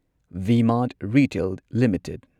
V Mart retail limited